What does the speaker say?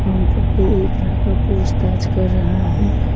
Counter पर एक लड़का पूछताछ कर रहा है।